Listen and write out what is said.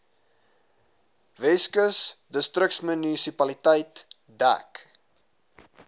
weskus distriksmunisipaliteit dek